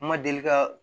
N ma deli ka